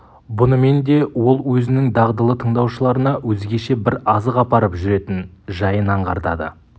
бұнымен де ол өзінің дағдылы тыңдаушыларына өзгеше бір азық апарып жүретін жайын аңғартады